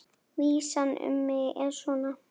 Vísan um mig er svona: